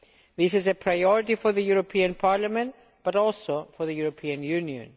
This is a priority for the European Parliament but also for the European Union.